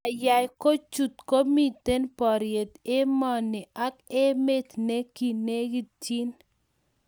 ndeyai kuchot komito poriet emeni ak emet ne kinegitchine